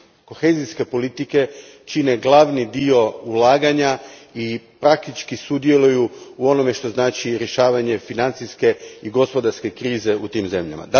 kohezijske politike čine glavni dio ulaganja i praktički sudjeluju u onome što znači rješavanje financijske i gospodarske krize u tim zemljama?